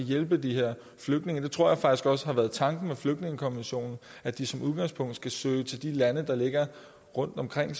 hjælpe de her flygtninge det tror jeg faktisk også har været tanken med flygtningekonventionen at de som udgangspunkt skal søge til de lande der ligger rundt omkring